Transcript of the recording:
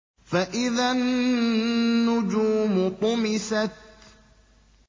فَإِذَا النُّجُومُ طُمِسَتْ